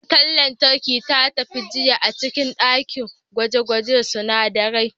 Wutar lantarki ta tafi jiya a cikin dakin gwaje-gwajen sunadarai